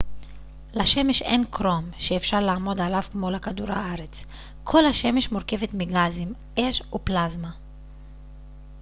לשמש אין קרום שאפשר לעמוד עליו כמו לכדור הארץ כל השמש מורכבת מגזים אש ופלזמה